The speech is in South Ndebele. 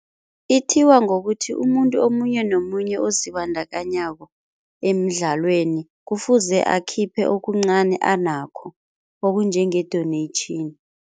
Ithiwa ngokuthi umuntu omunye nomunye ozibandakanyako emidlalweni kufuze akhiphe okuncani anakho okunjenge-donation.